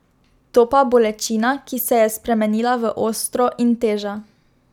Topa bolečina, ki se je spremenila v ostro, in teža.